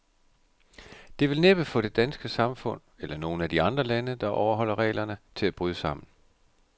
Det vil næppe få det danske samfund, eller nogen af de andre lande, der overholder reglerne, til at bryde sammen.